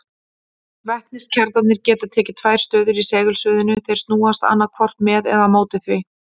Vetniskjarnarnir geta tekið tvær stöður í segulsviðinu, þeir snúast annaðhvort með eða á móti því.